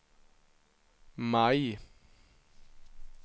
maj